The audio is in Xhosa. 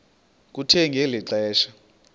kuthe ngeli xesha